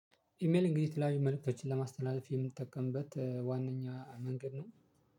ኢሜል እንግዲህ የተለያዩ መልእክቶችን ለማስተላለፍ የምንጠቀምበት ዋነኛ መንገድ ነው።